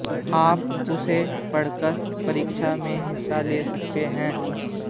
आप उसे पढ़कर परीक्षा में हिस्सा ले सकते हैं